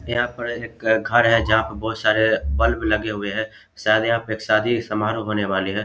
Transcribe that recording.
यहां पर एक घर है जहां बहुत सारे बल्ब लगे हुए है शायद यहाँ पे एक शादी समारोह होने वाली है।